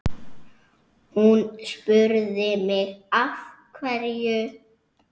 Hún spurði mig af hverju?